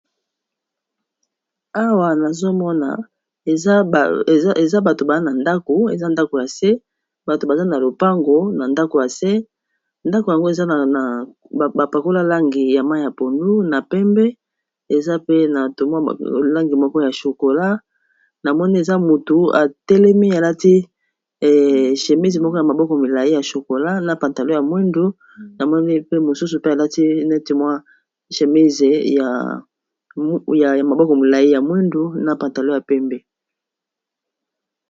awa nazomona eza bato baa a dako eza ndako ya se bato baza na lopango na ndako yase ndako yango eza abapakolalangi ya mai ya ponu na pembe eza pe na omwa langi moko ya chokola na moni eza motu atelemi alati shemise moko ya maboko milai ya chokola na pantalo ya mwindu na moni pe mosusu pe alati neti mwa chemise yaya maboko milai ya mwindu na pantalo ya pembe